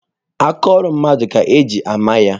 Aka ọrụ mmadụ ka eji ama ya.